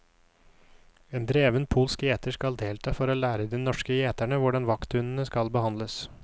En dreven polsk gjeter skal delta for å lære de norske gjeterne hvordan vakthundene skal behandles.